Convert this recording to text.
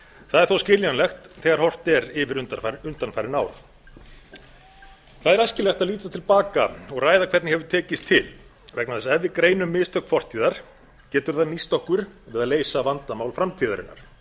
það er þó skiljanlegt þegar horft er yfir undanfarin ár það er æskilegt að líta til baka og ræða hvernig hefur tekist til vegna þess ef við greinum mistök fortíðar getur það nýst okkur við að leysa vandamál framtíðarinnar ég